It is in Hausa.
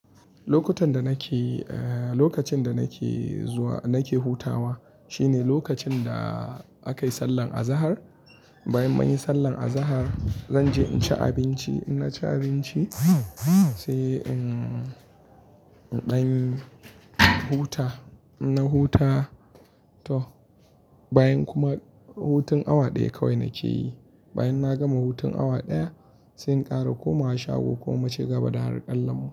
Lokutan da nake, eh, lokacin da nake zuwa nake hutawa shine lokacin da aka yi sallar azahar. Bayan mun yi sallar azahar, zan je in ci abinci. In na ci abinci sai in, in ɗan huta. Na huta toh bayan kuma hutun awa ɗaya kawai nake yi. Bayan na gama hutun awa ɗaya sai in ƙara komawa shago ko muciga ba da har ƙallan mu.